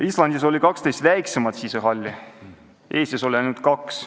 Islandil oli ka 12 väiksemat sisehalli, Eestis ainult kaks.